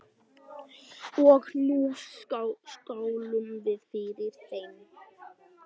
Og nú skálum við fyrir henni.